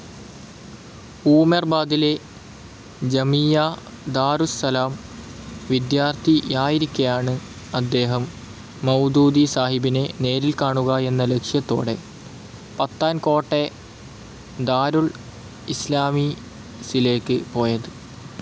ഊമെർബാദിലെ ജമീയ ദാരുസ്സലാം വിദ്യാർത്ഥിയായിരിക്കെയാണ് അദ്ദേഹം മൌദൂദിസാഹിബിനെ നേരിൽ കാണുക എന്ന ലക്ഷ്യത്തോടെ പത്താൻകോട്ടെ ദാരുൾ ഇസ്ലാമീസിലേക്ക് പോയത്.